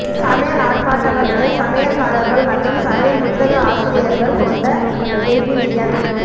சமையல் ஆர்ப்பாட்டங்கள் மேல் சமையல்காரர்கள் மற்றும் சமையல் புத்தக ஆசிரியர்கள் கொண்ட பெவிலியன்